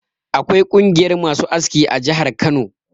Akwai ƙungiyar masu aski a jihar Kano.